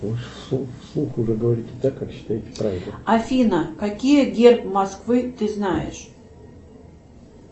афина какие герб москвы ты знаешь